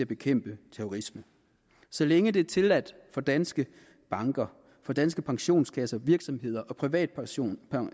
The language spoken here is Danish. bekæmpe terrorisme så længe det er tilladt for danske banker for danske pensionskasser og virksomheder og privatpersoner